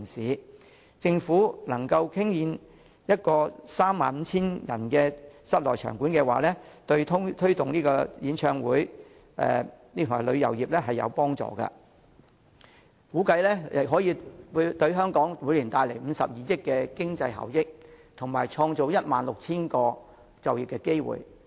如果政府能夠興建一座可容納 35,000 人的室內場館，將有助推動演唱會旅遊發展，估計可為香港帶來每年52億元經濟效益，以及創造 16,000 個就業機會。